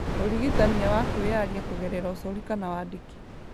Ũrigitania wa kwĩyaria kũgerera ũcori kana wandĩki